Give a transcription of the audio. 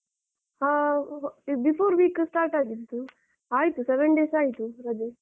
ಹಾ before week start ಆಗಿದ್ದು, ಆಯ್ತು seven days ಆಯ್ತು ರಜೆ.